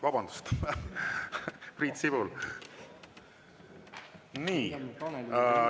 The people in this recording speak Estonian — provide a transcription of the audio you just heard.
Vabandust, Priit Sibul!